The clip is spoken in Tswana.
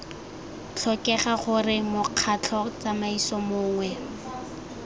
tlhokega gore mokgatlho tsamaiso mongwe